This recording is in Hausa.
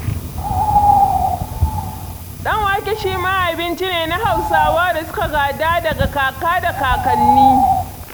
Ɗan-wake shi ma abinci ne na Hausawa da suka gada daga kaka da kakanni.